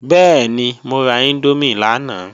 Bẹ́ẹ̀ni, mo ra índómì lánàá